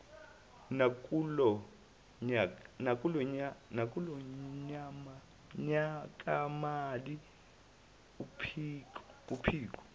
nakulo nyakamali uphiko